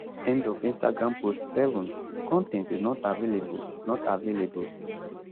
end of instagram post 7 con ten t is not available not available